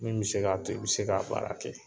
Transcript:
Min bɛ se k'a to i bɛ se k'a baara kɛ